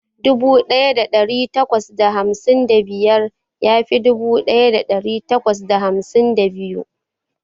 Dubu daya dari takwas da hamsin da biyar ya fi dubu daya dari takwas da hamsin da biyu.